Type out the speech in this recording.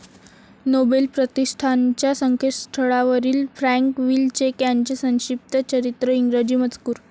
Nobel प्रतिष्ठानच्या संकेतस्थळावरील Frank Wilczek यांचे संक्षिप्त चरित्र इंग्रजी मजकूर